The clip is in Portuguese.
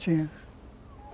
Tinha.